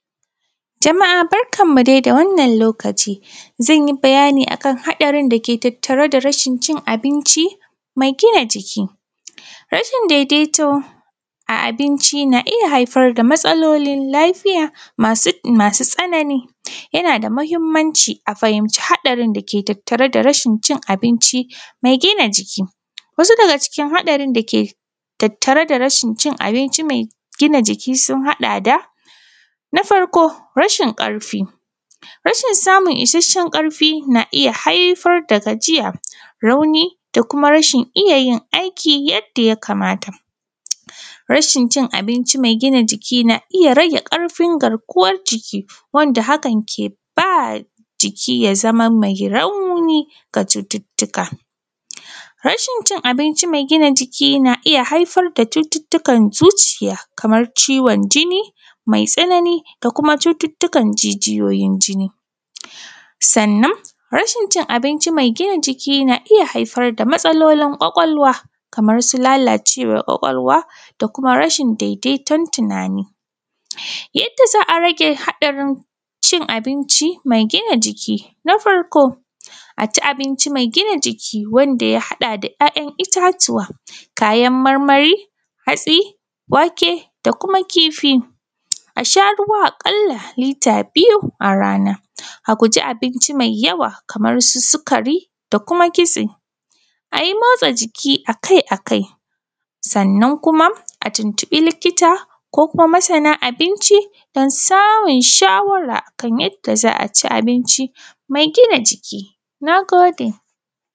Jama’a barkanmu dai da wannan lokaci zan yi bayani akan haɗarin dake tattare da reshin cin abinci mai gina jiki, rashin daidaito a abinci na iya haifar da matsalolin lafiya masu tsanani yana da mahinmaci a fahimci hatsarin dake tattare da rashin cin abinci mai gina jiki. Wasu daga cikin haɗarorin dake tattare da rashin cin abinci mai gina jiki sun haɗa da: na farko rashin ƙarfi, rashin samun ishashen ƙarfi na iya haifar da gajiya, rauni da kuma rashin iya yin aikin yadda ya kamata, rashin cin abinci mai gina jiki na rage rashin ƙarfin garkuwan jiki wanda hakan ke ba jiki ya zama mai rauni ga cututtuka. Rashin cin abinci mai gina jiki na haifar da cututtukan zuciya kaman ciwon jini mai tsanani da kuma cututtukan jijiyoyi jini, sannna rashin cin abinci mai gina jiki na iya haifar da matsalolin kwakwalwa kaman su lalacewan kwakwalwa da kuma rashin daidaiton tunani yanda za a rage haɗarin cin abinci mai gina jiki na farko, a ci abinci mai gina jiki wanda ya haɗa da ‘ya’yan itatuwa kayan marmari, hasti, wake da kuma kifi, a sha ruwa a ƙala lita biyu a rana, a guji abinci mai yawa kamar su sukari da kuma kitse, a yi motsajiki akai-akai, sannan kuma a tuntuɓi likita ko kuma masana abinci don samun shawara akan yadda za a ci abunci mai gina jiki. Na gode.